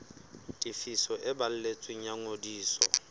tefiso e balletsweng ya ngodiso